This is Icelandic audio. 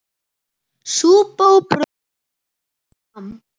Súpa og brauð borin fram.